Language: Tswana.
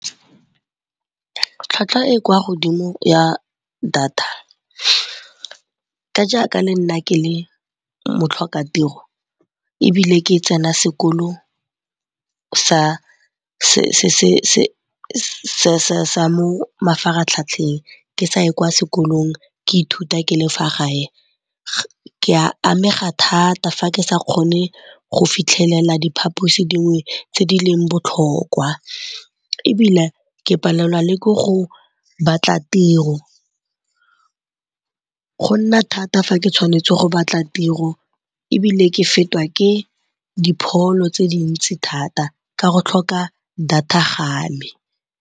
Tlhwatlhwa e kwa godimo ya data, ka jaaka le nna ke le motlhokatiro ebile ke tsena sekolo sa mo mafaratlhatlheng ke sa ye kwa sekolong ke ithuta ke le fa gae ke a amega thata fa ke sa kgone go fitlhelela diphaposi dingwe tse di leng botlhokwa. Ebilane ke palelwa le ke go batla tiro, go nna thata fa ke tshwanetse go batla tiro ebile ke fetwa ke dipholo tse dintsi thata ka go tlhoka data ga me.